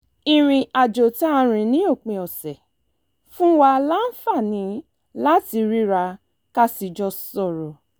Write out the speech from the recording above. ìrìn àjò tá a rìn ní òpin ọ̀sẹ̀ fún wa láǹfààní láti ríra ká sì jọ sọ̀rọ̀